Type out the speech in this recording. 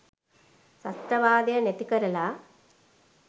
ත්‍රස්තවාදය නැතිකරලා